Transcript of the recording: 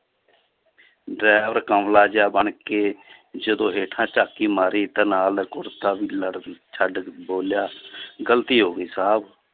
Driver ਕਮਲਾ ਜਿਹਾ ਬਣ ਕੇ ਜਦੋਂ ਹੇਠਾਂ ਝਾਤੀ ਮਾਰੀ ਤਾਂ ਨਾਲ ਕੁੜਤਾ ਵੀ ਲੜ ਛੱਡ ਬੋਲਿਆ ਗ਼ਲਤੀ ਹੋ ਗਈ ਸਾਹਬ